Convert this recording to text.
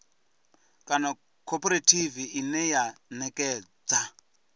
kana khophorethivi ine ya ṋekedza